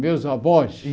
Meus avós? Sim